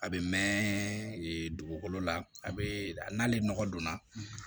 A bɛ mɛn dugukolo la a bɛ n'ale nɔgɔ don na